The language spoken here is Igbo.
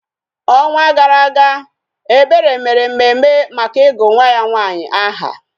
Ọnwa gara aga, Ebere mere mmemme maka ịgụ nwa ya nwaanyị aha